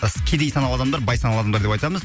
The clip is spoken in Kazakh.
кедей саналы адамдар бай саналы адамдар деп айтамыз